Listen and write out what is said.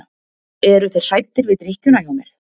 Eru þeir hræddir við drykkjuna hjá mér?